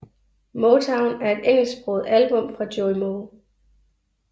MoeTown er et engelsksproget album fra Joey Moe